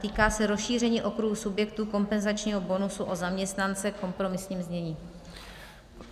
Týká se rozšíření okruhu subjektů kompenzačního bonusu o zaměstnance v kompromisním znění.